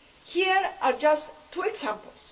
Here are just two examples.